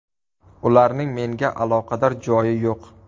Ularning menga aloqador joyi yo‘q.